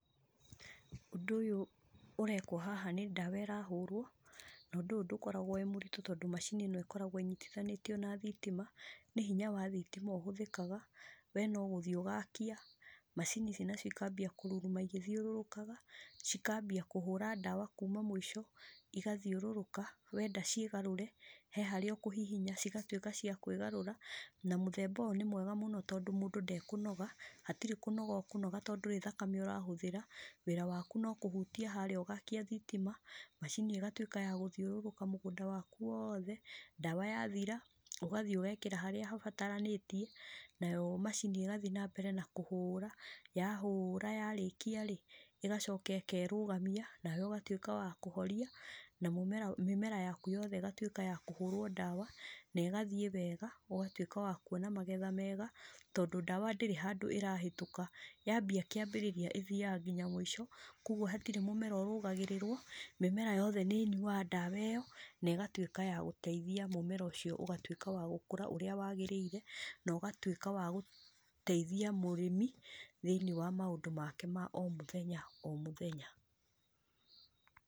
Ũndũ ũyũ ũrekwo haha nĩ ndawa ĩrahũrwo, no ndũyũ ndũkoragwo wĩ mũritũ tondũ macini ĩno ĩkoragwo ĩnyitithanĩtio na thitima, nĩ hinya wa thitima ũhũthĩkaga, we ogũthiĩ ũgakia, macini ici nacio ikambia kũruruma igĩthiũrũrũkaga, cikambia kũhũra ndawa kuma mũico, igathiũrũrũka, wenda ciĩgarũre, he harĩa ũkũhihinya cigatwĩka cia kwĩ garũra, na mũthemba ũyũ nĩ mwega mũno tondũ mũndũ ndekũnoga, hatirĩ kũnoga ũkũnoga tondũ ndũrĩ thakame ũrahũthĩra, wĩra waku nokũhutia harĩa ũgakia thitima, macini ĩgatwĩka ya gũthiũrũrũka mũgũnda waku wothe, ndawa yathira, ũgathiĩ ũgekĩra harĩa habataranĩtĩe, nayo macini ĩgathiĩ nambere na kũhũra, yahũra yarĩkia rĩ, ĩgacoka ĩkerũgamia, nawe ũgatwĩka wa kũhoria, na mũmera mĩmera yaku yothe ĩgatwĩka yakũhũrwo ndawa, negathiĩ wega, ũgatwĩka wa kuona magetha mega, tondũ ndawa ndĩrĩ handũ ĩrahĩtũka, yambia kĩambĩrĩria ĩthiaga nginya mũico, koguo hatirĩ mĩmera ĩrũgagĩrĩrwo, mĩmera yothe nĩnyuaga ndawa ĩyo, negatwĩka ya gũteithia mũmera ũcio ũgatwĩka wa gũkũra ũrĩa wagĩrĩire, nogatwĩka wagũteithia mũrĩmi thĩinĩ wa maũndũ make ma o mũthenya o mũthenya.